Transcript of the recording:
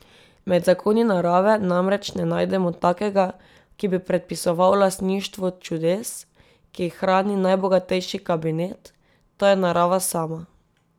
Med zakoni narave namreč ne najdemo takega, ki bi predpisoval lastništvo čudes, ki jih hrani najbogatejši kabinet, to je narava sama.